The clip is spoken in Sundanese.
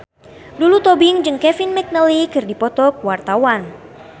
Lulu Tobing jeung Kevin McNally keur dipoto ku wartawan